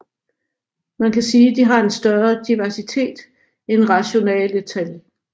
Man kan sige de har en større diversitet end rationale tal